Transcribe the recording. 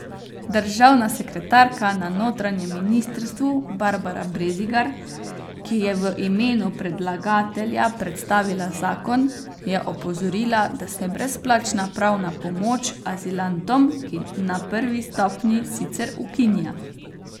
Državna sekretarka na notranjem ministrstvu Barbara Brezigar, ki je v imenu predlagatelja predstavila zakon, je opozorila, da se brezplačna pravna pomoč azilantom na prvi stopnji sicer ukinja.